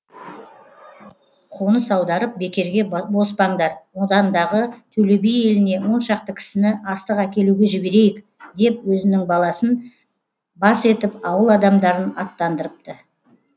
қоныс аударып бекерге боспаңдар одандағы төле би еліне оншақты кісіні астық әкелуге жіберейік деп өзінің баласын бас етіп ауыл адамдарын аттандырыпты